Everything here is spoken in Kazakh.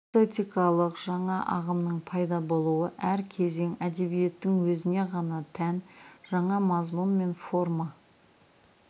эстетикалық жаңа ағымның пайда болуы әр кезең әдебиетінің өзіне ғана тән жаңа мазмұн мен форма